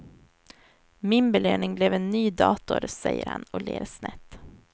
Min belöning blev en ny dator, säger han och ler snett.